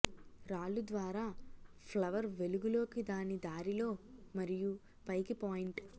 రాళ్ళు ద్వారా ఫ్లవర్ వెలుగులోకి దాని దారిలో మరియు పైకి పాయింటు